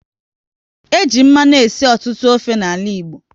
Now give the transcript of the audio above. E ji mmanụ esi ọtụtụ ofe n'ala Igbo